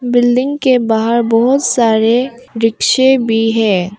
Building के बाहर बहुत सारे रिक्शे भी हैं।